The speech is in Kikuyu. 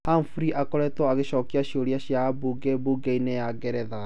Humphrey akoretwo agĩcokia ciũria cia ambunge mbunge-inĩ ya Ngeretha.